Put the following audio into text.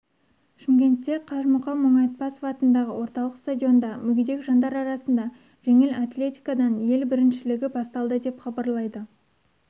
шымкентте қажымұқан мұңайтпасов атындағы орталық стадионда мүгедек жандар арасында жеңіл атлетикадан ел біріншілігі басталды деп хабарлайды